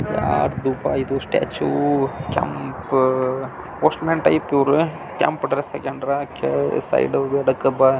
ಯಾರ್ದ ಪ ಇದು statue uh uh postman type ಇದೆ ಕೆಂಪು ಡ್ರೆಸ್ ಹಾಕೊಂಡರ ಸೈಡ್ ಗೆ ಒಂದು ಡಬ್ಬ--